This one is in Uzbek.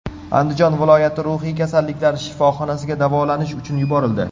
Andijon viloyati ruhiy kasalliklar shifoxonasiga davolanish uchun yuborildi.